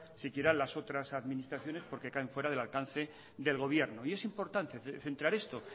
siquiera las otras administraciones porque caen fuera del alcance del gobierno y es importante centrar esto